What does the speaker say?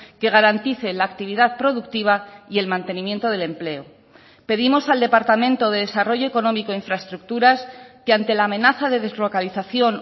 que garantice la actividad productiva y el mantenimiento del empleo pedimos al departamento de desarrollo económico e infraestructuras que ante la amenaza de deslocalización